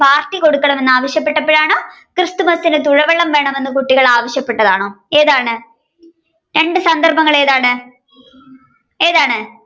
party കൊടുക്കണമെന്ന് ആവശ്യപ്പെട്ടപ്പോഴാണോ ക്രിസ്തുമസിന് തുഴവള്ളം വേണമെന്ന് കുട്ടികൾ ആവശ്യപ്പെട്ടതാണോ ഏതാണ് രണ്ട് സന്ദർഭങ്ങൾ ഏതാണ് ഏതാണ്